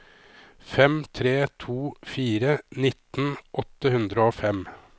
fem tre to fire nitten åtte hundre og fem